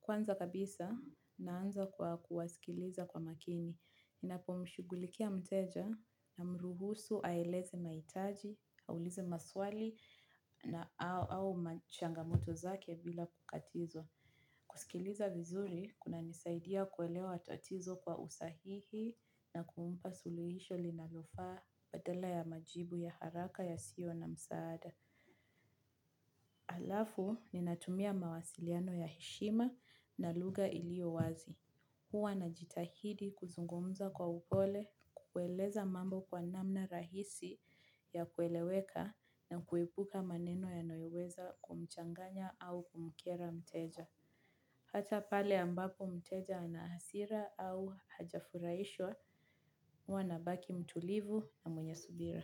Kwanza kabisa, naanza kwa kuwasikiliza kwa makini. Ninapomshughulikia mteja namruhusu aeleze mahitaji, aulize maswali na au machangamoto zake bila kukatizwa. Kusikiliza vizuri kunanisaidia kuelewa tatizo kwa usahihi na kumpa suluhisho linalofaa badala ya majibu ya haraka yasio na msaada. Alafu ninatumia mawasiliano ya heshima na lugha ilio wazi. Huwa najitahidi kuzungumza kwa upole, kueleza mambo kwa namna rahisi ya kueleweka na kuepuka maneno yanayoweza kumchanganya au kumkera mteja. Hata pale ambapo mteja ana hasira au hajafurahishwa huwa nabaki mtulivu na mwenye subira.